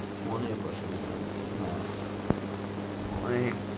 অনেক অসুবিধে হচ্ছে হ্যাঁ, অনেক।